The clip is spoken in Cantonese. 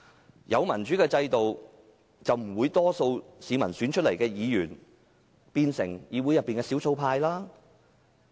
如果有民主制度，大多數市民選出來的議員便不會變成議會的少數派。